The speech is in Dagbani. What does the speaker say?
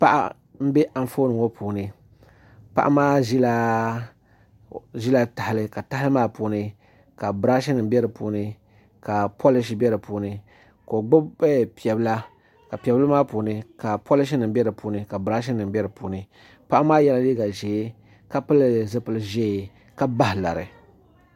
Paɣa n bɛ Anfooni ŋo puuni paɣa maa ʒila tahali ka tahali maa puuni ka birash nim bɛ di puuni ka polish bɛ di puuni ka o gbubi piɛ bila ka piɛ bili maa puuni ka polish nim bɛ di puuni ka birash nim bɛ di puuni paɣa maa yɛla liiga ʒiɛ ka pili zipili ʒiɛ ka bahi lari